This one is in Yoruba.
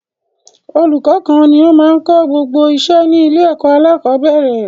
Ọlùkọ́ kan ni o máa n kó gbogbo iṣẹ́ ní ilé ẹ̀kọ́ alákọ̀bẹ́rẹ̀